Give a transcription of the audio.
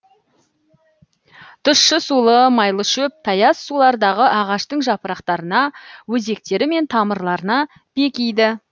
тұщы сулы майлы шөп таяз сулардағы ағаштың жапырақтарына өзектері мен тамырларына бекиді